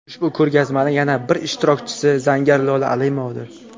Ushbu ko‘rgazmaning yana bir ishtirokchisi zargar Lola Amilovadir.